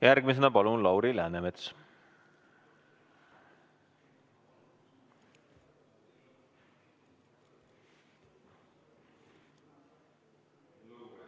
Järgmisena Lauri Läänemets, palun!